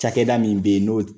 cakɛda min yen n'o